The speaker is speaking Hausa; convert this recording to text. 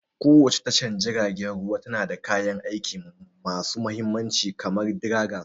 Kowace tashar jiragen ruwa tana da kayan aiki masu mahimmanci kamar dragger.